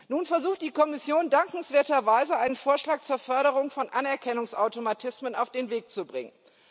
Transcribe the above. Nun versucht die Kommission dankenswerterweise, einen Vorschlag zur Förderung von Anerkennungsautomatismen auf den Weg zu bringen.